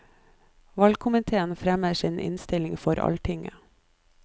Valgkomiteen fremmer sin innstilling på alltinget.